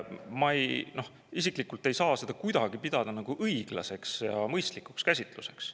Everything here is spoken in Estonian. Ma isiklikult ei saa seda kuidagi pidada õiglaseks ja mõistlikuks käsitluseks.